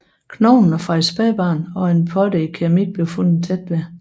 Knoglerne fra et spædbarn og en potte i keramik blev fundet tæt ved